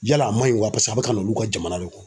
Yala a man ɲi wa paseke a bɛ ka na olu ka jamana de kɔ